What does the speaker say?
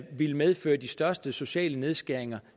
ville medføre de største sociale nedskæringer